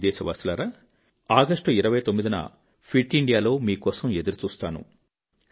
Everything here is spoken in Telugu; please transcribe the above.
నా ప్రియదేశవాసులారా 29 ఆగస్ట్ న ఫిట్ ఇండియాలో మీకోసం ఎదురుచూస్తాను